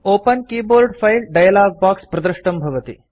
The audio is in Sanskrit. open keyboard file dialog box प्रदृष्टं भवति